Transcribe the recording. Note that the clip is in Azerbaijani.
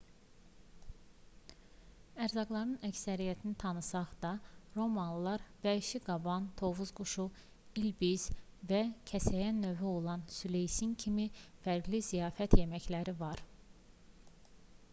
ərzaqlarının əksəriyyətini tanısaq da romalılar vəhşi qaban tovuz quşu ilbiz və kəsəyən növü olan süleysin kimi fərqli ziyafət yeməkləri var